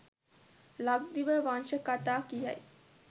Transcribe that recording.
ලක්දිව වංශ කතා කියයි.